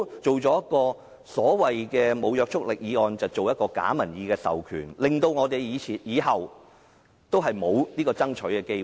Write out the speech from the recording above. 政府不要提出了無約束力的議案，製造假民意的授權，令我們以後也沒有爭取的機會。